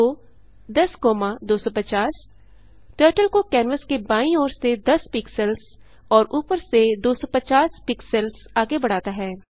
गो 10250 turtle को canvas के बायीं ओर से 10 पिक्सेल्स और ऊपर से 250 पिक्सेल्स आगे बढ़ाता है